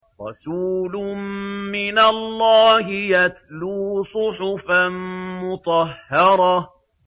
رَسُولٌ مِّنَ اللَّهِ يَتْلُو صُحُفًا مُّطَهَّرَةً